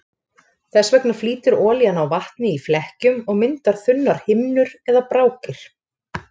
Þess vegna flýtur olían á vatni í flekkjum og myndar þunnar himnur eða brákir.